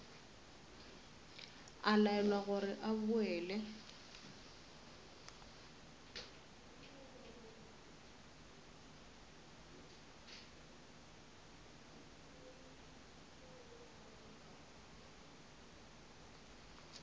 a laelwa gore a boele